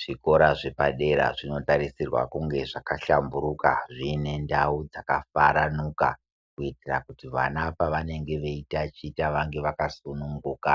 Zvikora zvepadera zvinotarisirwa kunge zvakahlamburuka zviine ndau dzakafaranuka kuitira kuti vana pavanenge veitaticha vange vakasununguka